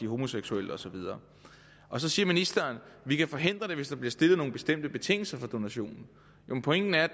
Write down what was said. homoseksuelle og så videre så siger ministeren at vi kan forhindre det hvis der bliver stillet nogle bestemte betingelser for donationerne ja men pointen er at